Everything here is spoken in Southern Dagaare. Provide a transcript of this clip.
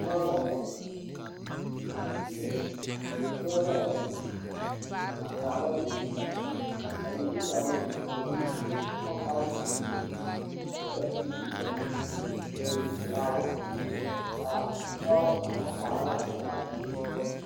Pɔɔba bayi la zeŋ ba zeŋee ka ba puori kyaare a die a die waa ŋa kaba kyɛ ka moɔ be ba puoriŋ ka teere meŋ be a ba puoriŋ kyɛ ka a pɔgɔ kaŋ sɛge o nuure aŋ do saa